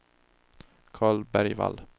Karl Bergvall